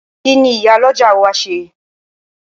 Kíni Ìyálọ́jà ó wá ṣe?